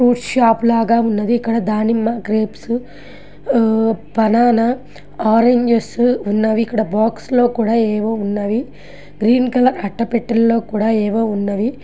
Fruit shop లాగా ఉన్నది. ఇక్కడ దానిమ్మ గ్రేప్స్ ఆబనానా ఆరెంజ్ స్ ఉన్నవి. ఇక్కడ బాక్స్ లో కూడా ఏవో ఉన్నవి. గ్రీన్ కలర్ అట్టపెట్టలో కూడా ఏవో ఉన్నవి.